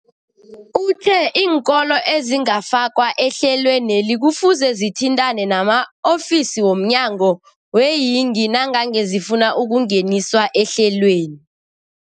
Uthe iinkolo ezingakafakwa ehlelweneli kufuze zithintane nama-ofisi wo mnyango weeyingi nangange zifuna ukungeniswa ehlelweni.